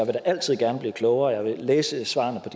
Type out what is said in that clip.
altid gerne blive klogere og jeg vil læse svarene